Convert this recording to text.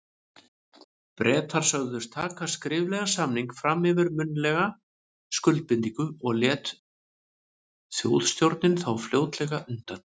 Bretar sögðust taka skriflegan samning fram yfir munnlega skuldbindingu, og lét Þjóðstjórnin þá fljótlega undan.